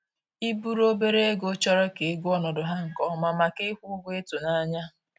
I buru obere ego chọrọ ka ị gụọ ọnọdụ ha nke ọma, maka ịkwụ ụgwọ ịtụnanya